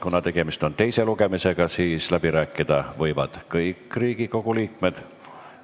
Kuna tegemist on teise lugemisega, siis läbi rääkida võivad kõik Riigikogu liikmed.